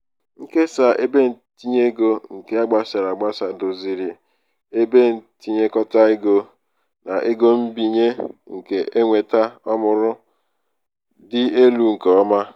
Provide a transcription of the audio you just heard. nkesa ebentinyeego nke a gbasara agbasa doziri ngwaahịa agbasa doziri ngwaahịa ebe ntinyekọta ego na ego mbinye nke eweta ọmụrụ dị elu nke ọma.